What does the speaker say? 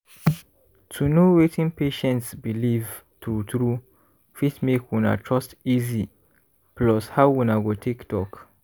to know wetin patient believe true true fit make una trust easy plus how una go take talk